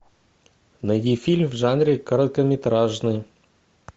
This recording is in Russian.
найди фильм в жанре короткометражный